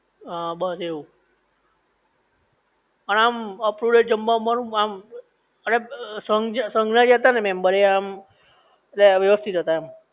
હા બસ એવું પણ આમ અપટુડેટ જમા બમવા નું આમ ઍટલે સંઘ જે સંઘ ના હતા ને મેમ્બર એ આમ વ્યવસ્થિત હતા એમ